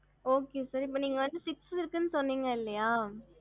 okey sir எப்போ வந்து six இருக்கு சொன்னிங்க இல்ல